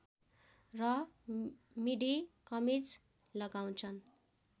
र मिडी कमिज लगाउँछन्